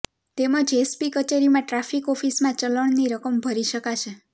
તેમજ એસપી કચેરીમાં ટ્રાફિક ઓફીસમાં ચલણની રકમ ભરી શકાશે